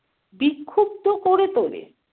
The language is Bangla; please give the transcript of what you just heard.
বিক্ষুব্ধ করে তোলে।